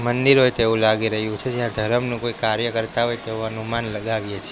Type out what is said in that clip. મંદિર હોય એવું લાગી રહ્યું છે જ્યાં ધરમનું કોઈ કાર્ય કરતા હોય તેવું અનુમાન લગાવ્યે છે.